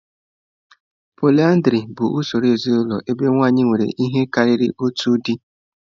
Pọlyndrị bụ usoro ezinụlọ ebe nwanyị nwere ihe karịrị otu di.